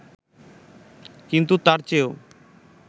কিন্তু তার চেয়েও